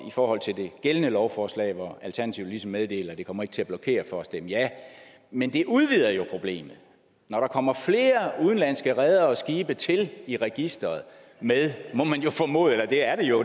i forhold til det gældende lovforslag hvor alternativet meddeler at det ikke kommer til at blokere for at stemme ja men det udvider jo problemet når der kommer flere udenlandske redere og skibe til i registreret med må man jo formode eller det er det jo